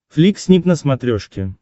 флик снип на смотрешке